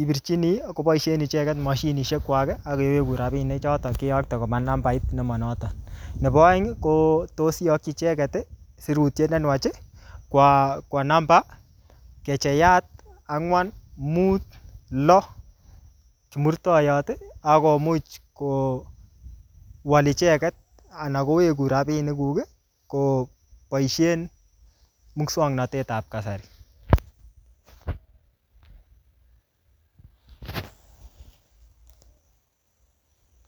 ipirchini koboisien icheget mashinisiekwak ak kewegun rapinichoton keyokte koba nambait nemanoto. Nebo aeng ko tos iyakyi icheget sirutyet ne nuach kwo namba *456# ak komuch kowol icheget ana kowegun rapinik kuk koboisien muswognatet ab kasari.